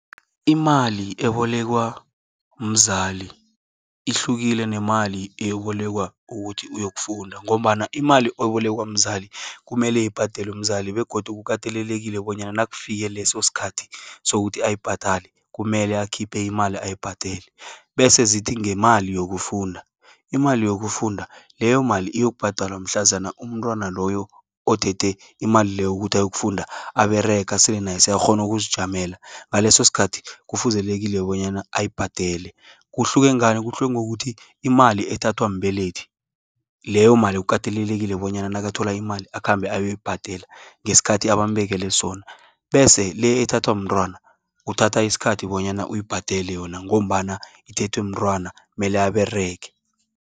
Imali ebolekwa mzali, ihlukile nemali eyobolekwa ukuthi uyokufunda. Ngombana imali ebolekwa mzali, kumele ibhadelwe mzali. Begodu kukatelelekile bonyana nakufike lesoskhathi, sokuthi ayibhadale kumele akhiphe imali ayibhadele. Bese zithi ngemali yokufunda, imali yokufunda, leyo mali uyokubhadalwa mhlazana umntwana loyo, othethe imali leyo ukuthi ayokufunda ababerega aselenayese akghonu ukuzijamela. Ngalesoskhathi kufuzelekile bonyana ayibhadele. Kuhluke ngani? kuhle ngokuthi imali ethathwa mbelethi, leyo mali kukatelelekile bonyana nakathola imali, akhambe ayoyibhadela ngesikhathi abambekele sona. Bese le, ethwathwa mntrwana, uthatha iskhathi bonyana uyibhadele yona, ngombana ithethwe mntrwana mele aberege.